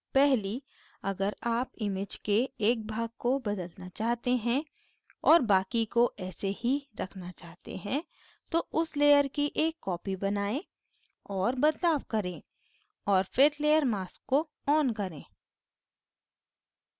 पहली अगर आप image के एक भाग को बदलना चाहते हैं और बाकि को ऐसे ही रखना चाहते हैं तो उस layer की एक copy बनायें और बदलाव करें और फिर layer mask को on करें